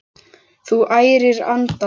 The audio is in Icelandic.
Þú ærir andana!